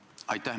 Aitäh!